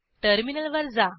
टर्मिनलवर जा